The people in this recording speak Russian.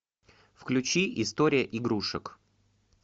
включи история игрушек